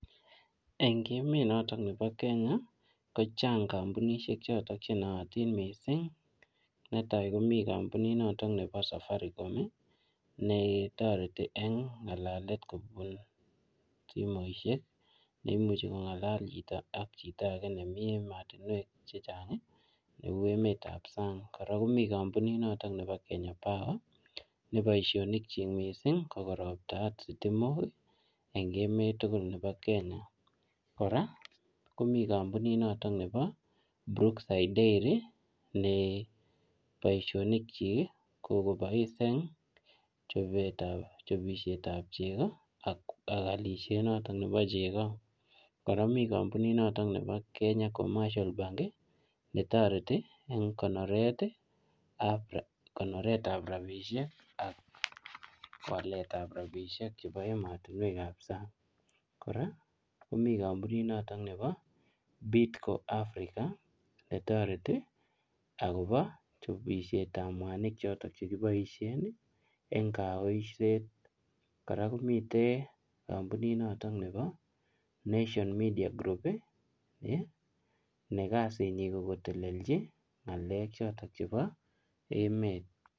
Eng emet notoon nebo Kenya ko chaang kampunisheek chotoon che naatiin netai komii kampunit notoon bo safaricom ii ne taretii en kalaleet kobuun simoisiek neimuchei ko ngalal chitoo ak chito age nemii ematinweek che chaang ii be uu ematinweek ab saang kora komii kampunit nebo Kenya power ne boisonik kyiik missing ko koroptaat sitimook en emeet tuguul nebo kenya kora komii kampunit notoon nebo [brookside dairy] ne boisionik kyiik ii ko kobois eng chapisiet ab chego ak alisiet notoon nebo chegoo kora Mii kampunit notoon nebo [kenya commercial bank ] ne taretii eng konoret ab rapisheek ak wallet ab rapisheek eng ematinweek ab saang kora komii kampunit notoon nebo [bidco Africa] ne taretii agobo chapisiet ab mwanig chotoon che kiboisien en kayoiset kora komiteen kampunit nebo [nation media group] ne kasiit nyiin ko koteleljii ngalek chotoon chebo emet.